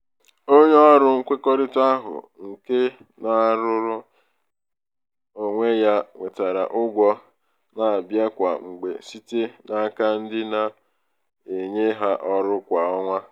onye ọrụ nkwekọrịta ahụ nke na-arụrụ nke na-arụrụ onwe ya nwetara ụgwọ na-abịa kwa mgbe site n'aka ndị na-enye ha ọrụ kwa ọnwa.